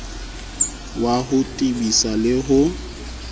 wa ho tebisa le ho